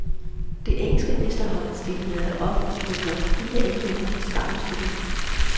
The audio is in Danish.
Det engelske mesterhold stillede op med blot fire englændere i startopstillingen.